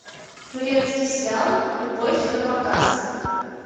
турецкий сериал любовь на показ